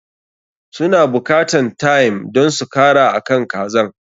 Su na buƙatan thyme don su kara akan kazan.